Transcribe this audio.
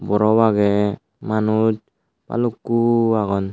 borop agey manus balukko agon.